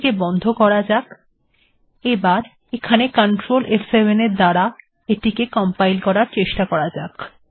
এটিকে বন্ধ করা যাক এবং কন্ট্রোল ফ7 দ্বারা কম্পাইল করা যাক